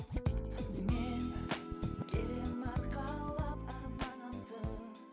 мен келемін арқалап арманымды